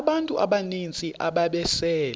abantu abaninzi ababesele